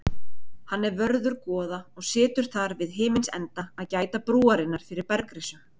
Hann er vörður goða og situr þar við himins enda að gæta brúarinnar fyrir bergrisum.